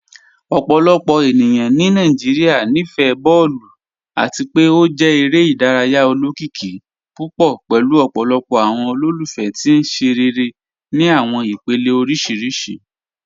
Ọpọlọpọ ènìyàn ni Nàìjíríà níí fẹ̀ bọọ̀lù, àti pe ó jẹ̀ èrè idáràyà ọlọ́kìíkì púpọ̀ pẹ̀lú ọpọlọpọ̀ awọn olólùfẹ̀ tì nṣerẹ̀rẹ̀ ni awọn ìpèlẹ̀ oríṣiríṣì.